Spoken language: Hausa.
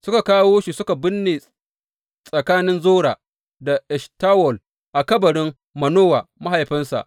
Suka kawo shi suka binne tsakanin Zora da Eshtawol a kabarin Manowa mahaifinsa.